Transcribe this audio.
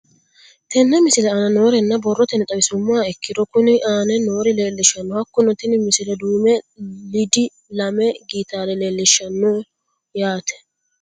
Tenne misile aana noore borrotenni xawisummoha ikirro kunni aane noore leelishano. Hakunno tinni misile duume lidi lame gitaare leelishshanno yaate.